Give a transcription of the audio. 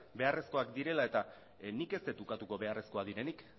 beharrezkoak direla nik ez dut ukatuko beharrezkoak direnik